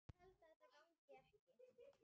Hægt er að lesa svarið hér.